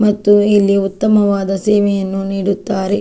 ಮತ್ತು ಇಲ್ಲಿ ಉತ್ತಮವಾದ ಸೇವೆಯನ್ನು ನೀಡುತ್ತಾರೆ.